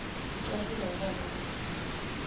ucasulwa wubala ukuzikhulula